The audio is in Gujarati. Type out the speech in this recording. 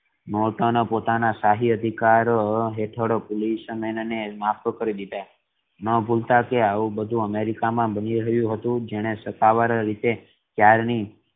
નોર્ટન પોતાના શાહી અધિકાર હેઠે પોલીસે મેન ન ને ન ભૂલતા કે આવું બધું અમેરિકા મા બની રહ્યું હતુ જેણે સ્થાવર રીતે ત્યારની